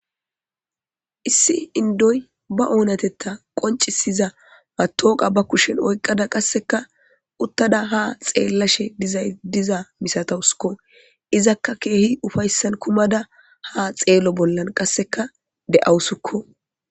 Issi indoy ba oonatetha qoncisiza matowaqa ba kushen oyqqada qasseka uttada haa xeellashe diza misatawusko izaka keehi upayssan kumada haa xeelo bolla de7awusko.